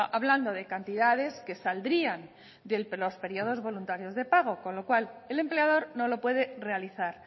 hablando de cantidades que saldrían de los periodos voluntarios de pago con lo cual el empleador no lo puede realizar